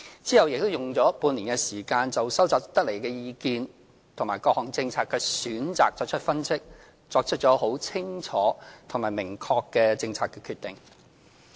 其後亦再用了半年時間，就收集得來的意見及各項政策選擇的分析，作出清楚而明確的政策決定。